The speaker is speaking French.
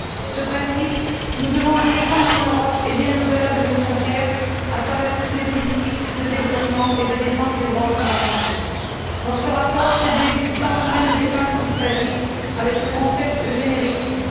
Ce principe, nous devons le défendre en Europe, et bien au delà de nos frontières, à travers toutes les politiques de développement et de défense des droits fondamentaux. Dans ce rapport, c'est de l'existence même des femmes qu'il s'agit avec le concept de généricide.